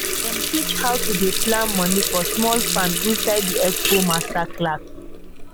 dem teach how to dey plan money for small farm inside di expo masterclass